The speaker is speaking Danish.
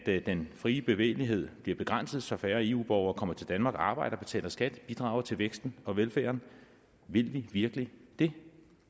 at den frie bevægelighed bliver begrænset så færre eu borgere kommer til danmark og arbejder betaler skat og bidrager til væksten og velfærden vil vi virkelig det